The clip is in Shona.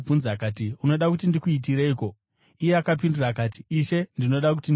“Unoda kuti ndikuitireiko?” Iye akapindura akati, “Ishe, ndinoda kuti ndione.”